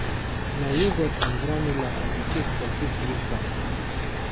Na yogurt and granola I dey take for quick breakfast.